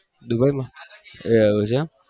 Dubai માં